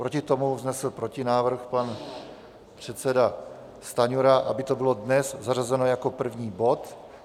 Proti tomu vznesl protinávrh pan předseda Stanjura, aby to bylo dnes zařazeno jako první bod.